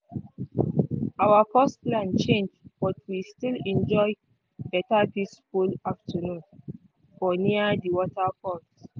our first plan change but we still enjoy better peaceful afternoon for near di waterfalls.